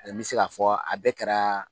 N bɛ se k'a fɔ a bɛɛ kɛra